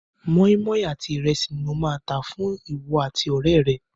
Mọ́ímọ́í àti ìrẹsì ni mo máa ta fún ìwọ àti ọ̀rẹ́ rẹ.